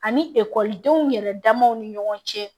Ani ekɔlidenw yɛrɛ damaw ni ɲɔgɔn cɛ